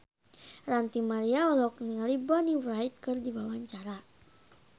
Ranty Maria olohok ningali Bonnie Wright keur diwawancara